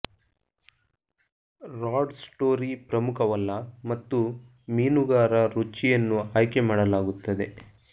rod story ಪ್ರಮುಖವಲ್ಲ ಮತ್ತು ಮೀನುಗಾರ ರುಚಿಯನ್ನು ಆಯ್ಕೆ ಮಾಡಲಾಗುತ್ತದೆ